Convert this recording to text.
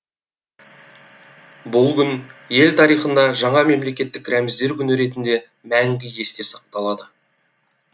бұл күн ел тарихында жаңа мемлекеттік рәміздер күні ретінде мәңгі есте сақталады